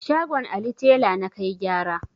Shagon Ali tela na kai gyara.